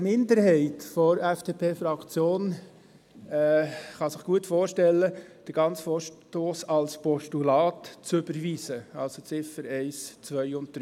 Eine Minderheit der FDP-Fraktion kann sich gut vorstellen, den ganzen Vorstoss als Postulat zu überweisen, also Ziffer 1, 2 und 3.